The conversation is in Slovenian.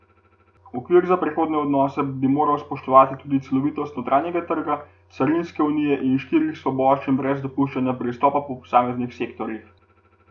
Okvir za prihodnje odnose bi moral spoštovati tudi celovitost notranjega trga, carinske unije in štirih svoboščin brez dopuščanja pristopa po posameznih sektorjih.